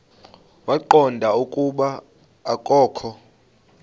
waqonda ukuba akokho